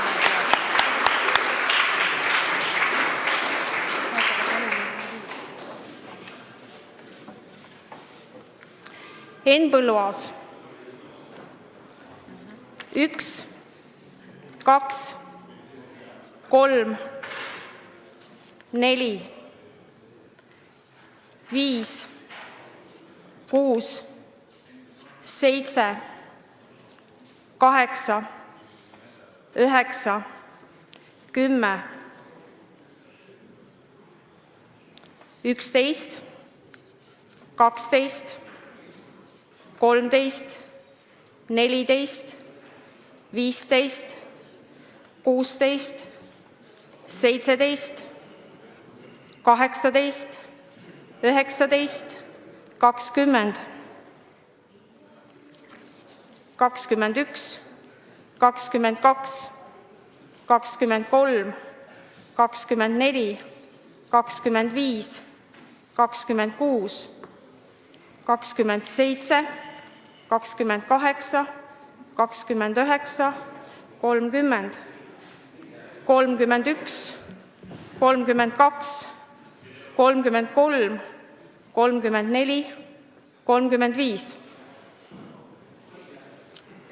Henn Põlluaas: 1, 2, 3, 4, 5, 6, 7, 8, 9, 10, 11, 12, 13, 14, 15, 16, 17, 18, 19, 20, 21, 22, 23, 24, 25, 26, 27, 28, 29, 30, 31, 32, 33, 34, 35.